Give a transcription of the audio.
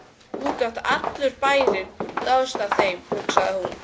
Nú gat allur bærinn dáðst að þeim, hugsaði hún.